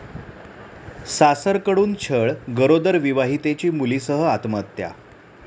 सासरकडून छळ, गरोदर विवाहितेची मुलीसह आत्महत्या